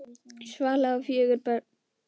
Svala á fjögur börn.